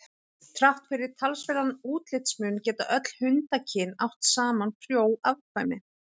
Þrátt fyrir talsverðan útlitsmun geta öll hundakyn átt saman frjó afkvæmi.